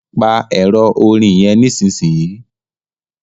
pa Ẹ̀rọ orin yén nísìsiyìí!